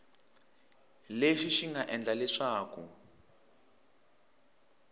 lexi xi nga endla leswaku